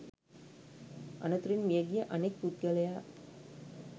අනතුරෙන් මියගිය අනෙක් පුද්ගලයා